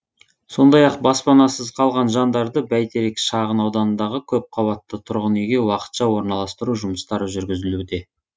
сондай ақ баспанасыз қалған жандарды бәйтерек шағын ауданындағы көпқабатты тұрғын үйге уақытша орналастыру жұмыстары жүргізілуде